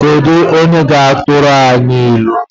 Kedu onye ga-atụrụ anyị ilu?